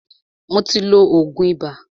Mó tí ló oògùn ibà.